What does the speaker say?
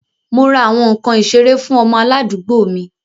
Mo ra awọn nkan isere fun ọmọ aladuugbo mi